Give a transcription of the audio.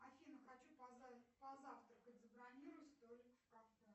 афина хочу позавтракать забронируй столик в кафе